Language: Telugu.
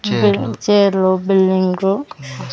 చైర్లు బిల్డింగు .